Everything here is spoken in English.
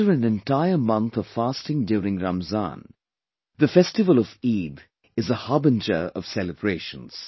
After an entire month of fasting during Ramzan, the festival of Eid is a harbinger of celebrations